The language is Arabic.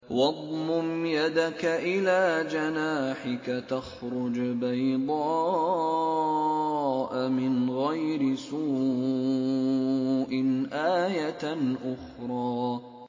وَاضْمُمْ يَدَكَ إِلَىٰ جَنَاحِكَ تَخْرُجْ بَيْضَاءَ مِنْ غَيْرِ سُوءٍ آيَةً أُخْرَىٰ